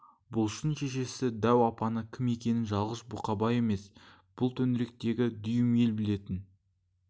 бұлыштың шешесі дәу апаның кім екенін жалғыз бұқабай емес бүл төңіректегі дүйім ел білетін